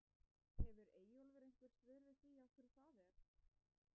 Hefur Eyjólfur einhver svör við því af hverju það er?